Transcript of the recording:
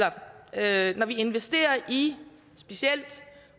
at når vi investerer i specielt